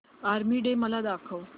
army day मला दाखव